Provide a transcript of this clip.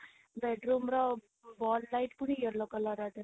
bedroom ର ball ଟା ପୁଣି yellow colour ଥିଲା